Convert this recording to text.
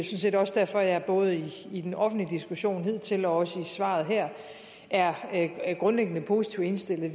set også derfor at jeg både i den offentlige diskussion hidtil og også i svaret her er grundlæggende positivt indstillet